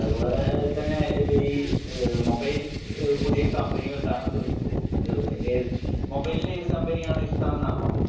അതുപോലെ തന്നെ മൊബൈൽ പുതിയ കമ്പനികൾ താങ്കൾ ചോദിച്ചു മൊബൈലിന്റെ ഏത് കമ്പനിയാണ് ഇഷ്ടമെന്നാണോ